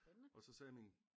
Og så sagde min